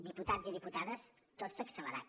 diputats i diputades tot s’ha accelerat